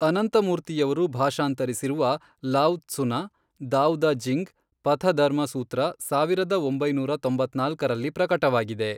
ಅನಂತಮೂರ್ತಿಯವರು ಭಾಷಾಂತರಿಸಿರುವ ಲಾವ್ ತ್ಸುನ, ದಾವ್ ದ ಜಿಂಗ್ ಪಥಧರ್ಮ ಸೂತ್ರ ಸಾವಿರದ ಒಂಬೈನೂರ ತೊಂಬತ್ನಾಲ್ಕರಲ್ಲಿ ಪ್ರಕಟವಾಗಿದೆ.